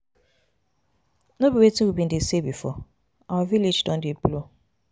No be wetin we bin dey say before? Our village don dey blow.